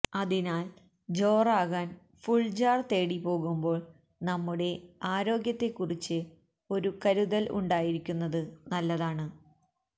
അതിനാല് ജോറാകാന് ഫുള്ജാര് തേടി പോകുമ്പോള് നമ്മുടെ ആരോഗ്യത്തെക്കുറിച്ച് ഒരു കരുതല് ഉണ്ടായിരിക്കുന്നത് നല്ലതാണ്